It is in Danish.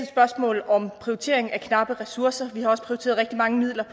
spørgsmål om prioritering af knappe ressourcer der er også blevet prioriteret rigtig mange midler